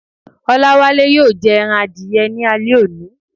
O̩láwále yóò je̩ e̩ran adiye̩ ní alé̩ òní.